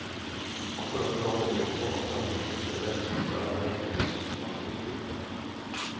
Akkurat nå holder vi på å samle en gruppe menn som skal være med i en presentasjongruppe.